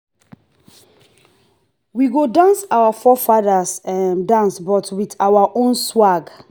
we go dance our forefathers um dance but with our own swag.